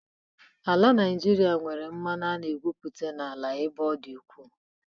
Ala Nijịrịa nwere mmanụ a na-egwupụta n'ala ebe ọ dị ukwu.